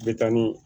Be taa ni